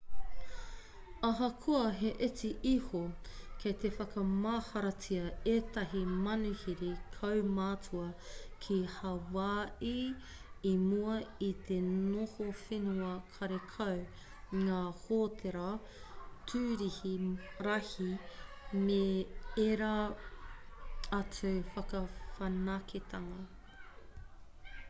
ahakoa he iti iho kei te whakamaharatia ētahi manuhiri kaumātua ki hawaaii i mua i te noho whenua karekau ngā hōtēra tūrihi rahi me ērā atu whakawhanaketanga